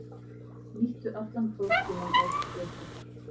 Nýttu allan próftímann ef þú getur.